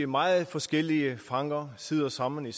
meget forskellige fanger sidder sammen